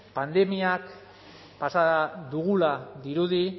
pandemiak pasa dugula dirudi